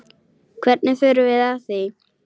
Hvernig förum við að því?